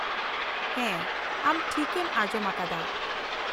-ᱦᱮᱸ, ᱟᱢ ᱴᱷᱤᱠᱮᱢ ᱟᱸᱡᱚᱢ ᱟᱠᱟᱫᱟ ᱾